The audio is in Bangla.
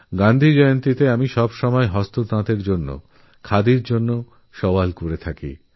গান্ধী জয়ন্তীতে আমি সবসময় হ্যান্ডলুমেরজন্য খাদির পক্ষে ওকালতি করে চলি